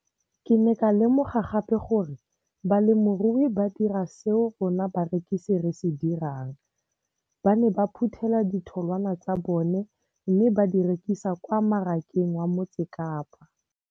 Ke ne ka lemoga gape gore balemirui ba dira seo rona barekisi re se dirang, ba ne ba phuthela ditholwana tsa bona mme ba di rekisa kwa marakeng wa Motsekapa.